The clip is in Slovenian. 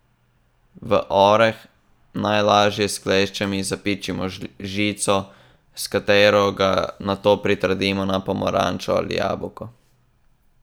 V oreh, najlažje s kleščami, zapičimo žico, s katero ga nato pritrdimo na pomarančo ali jabolko.